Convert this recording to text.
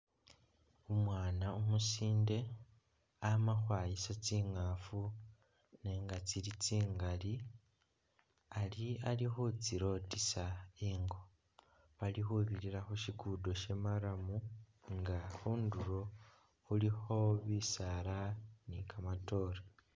Umwaana umusindi amakhwaayisa tsingaafu nenga tsili tsingaali ari ali khutsilootisa i'ngo, bali khubirira khushikudo sha'maramu nga khundulo khulikho bisaala ni kamatoore